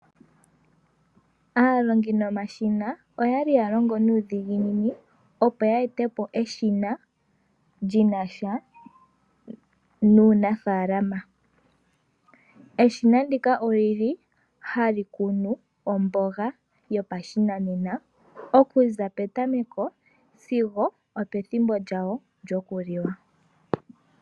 Aalongi yomashina oya li ya longo nuudhiginini, opo ye ete po eshina li na sha nuunafaalama. Eshina ndika oli li hali kunu omboga yopashinanena okuza petameko sigo opethimbo lyawo lyokuliwa.